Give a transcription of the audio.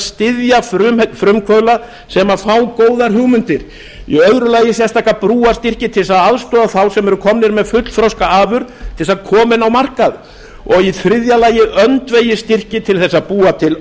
þess að styðja frumkvöðla sem fá góðar hugmyndir í öðru lagi sérstaka brúarstyrki til þess að aðstoða þá sem eru komnir með fullþroska afurð til þess að koma henni á markað og í þriðja lagi öndvegisstyrki til þess að búa til